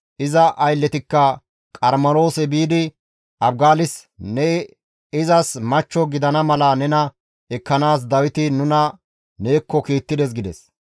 Iza aylletikka Qarmeloose biidi Abigaalis, «Ne izas machcho gidana mala nena ekkanaas Dawiti nuna neekko kiittides» gides.